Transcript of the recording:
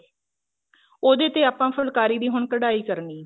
ਉਹਦੇ ਤੇ ਆਪਾਂ ਫੁੱਲਕਾਰੀ ਦੀ ਹੁਣ ਕਢਾਈ ਕਰਨੀ ਐ